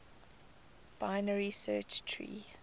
binary search tree